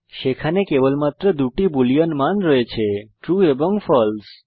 সেখানে কেবলমাত্র দুটি বুলিন মান রয়েছে ট্রু এবং ফালসে